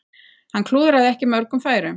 Hann klúðraði ekki mörgum færum.